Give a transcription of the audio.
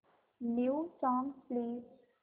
new songs please